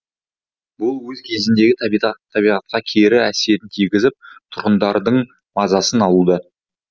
бұл өз кезегінде табиғатқа кері әсерін тигізіп тұрғындардың мазасын алуда